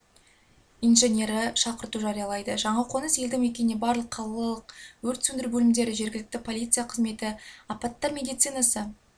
инженері шақырту жариялайды жаңақоныс елді мекеніне барлық қалалық өрт сөндіру бөлімдері жергілікті полиция қызметі апаттар медицинасы